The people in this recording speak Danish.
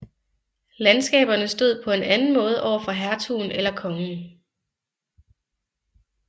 Landskaberne stod på en anden måde overfor hertugen eller kongen